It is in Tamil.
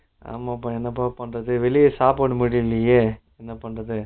ஆமாபா என்னப்பா பண்றது வெளில சாப்பிட முடியலயே என்னபன்றது